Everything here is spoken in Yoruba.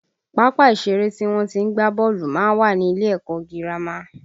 Pápá ìṣeré tí wọ́n tí ń gbá bọ́ọ̀lù má ń wà ní ilé ẹ̀kọ́ ọ girama